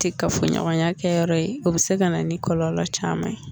Tɛ k'a fo ɲɔgɔnyan kɛ yɔrɔɔ ye, o bɛ se ka na ni kɔlɔlɔ caman ye.